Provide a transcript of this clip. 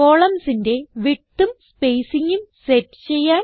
columnsന്റെ widthഉം spacingഉം സെറ്റ് ചെയ്യാൻ